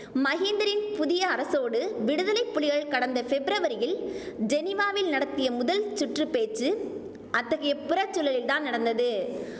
மஹிந்தரின் புதிய அரசோடு விடுதலை புலிகள் கடந்த ஃபெப்ரவரியில் ஜெனிவாவில் நடத்திய முதல் சுற்று பேச்சு அத்தகைய புறச்சூழலில்தான் நடந்தது